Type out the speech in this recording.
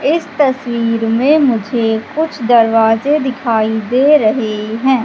इस तस्वीर में मुझे कुछ दरवाजे दिखाई दे रहे हैं।